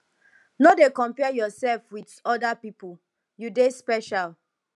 no dey compare yourself with other pipu you dey special